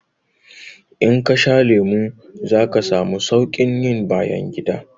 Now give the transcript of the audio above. In kasha lemu zaka samu saukin yin bayangida